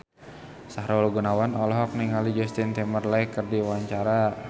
Sahrul Gunawan olohok ningali Justin Timberlake keur diwawancara